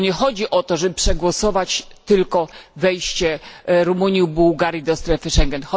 Nie chodzi o to, żeby przegłosować tylko wejście Rumunii i Bułgarii do strefy Schengen.